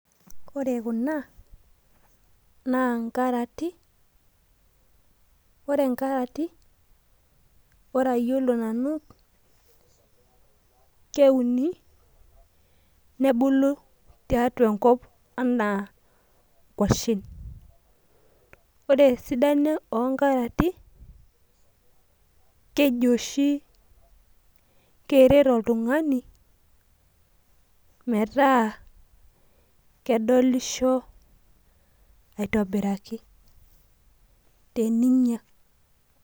ore kuna naa nkarati naa kewuni nebulu tenkop anaa kwashen, ore esdano oo nkarati naa keji oshi keret oltung'ani metaa kedolisho aitobiraki teninya.